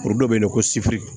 Dɔ bɛ yen nɔ ko sibiri